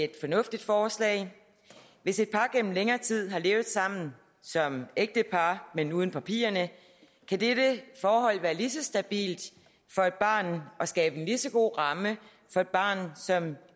et fornuftigt forslag hvis et par gennem længere tid har levet sammen som ægtepar men uden papirerne kan dette forhold være lige så stabilt for et barn og skabe en lige så god ramme for et barn som